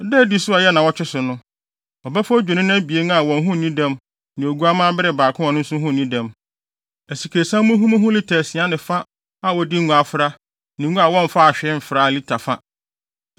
“Da a edi so a ɛyɛ nnaawɔtwe so no, ɔbɛfa adwennini abien a wɔn ho nni dɛm ne oguamma bere baako a ɔno nso ho nni dɛm, asikresiam muhumuhu lita asia ne fa a wɔde ngo afra ne ngo a wɔmfa mfraa hwee lita fa.